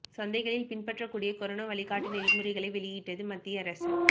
சந்தைகளில் பின்பற்ற கூடிய கொரோனா வழிகாட்டு நெறிமுறைகளை வெளியிட்டது மத்திய அரசு